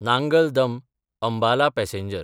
Nangal दम–अंबाला passenger